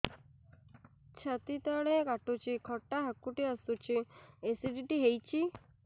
ଛାତି ତଳେ କାଟୁଚି ଖଟା ହାକୁଟି ଆସୁଚି ଏସିଡିଟି ହେଇଚି